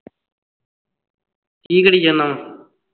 ਕੀ ਕਰੀ ਜਾਨਾ ਵਾਂ